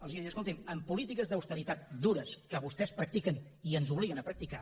els he dit escolti’m amb polítiques d’austeritat dures que vostès practiquen i ens obliguen a practicar